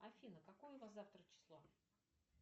афина какое у нас завтра число